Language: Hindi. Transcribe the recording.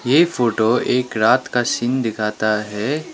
ये फोटो एक रात का सीन दिखाता है।